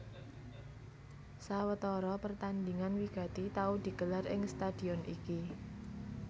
Sawetara pertandingan wigati tau digelar ing stadion iki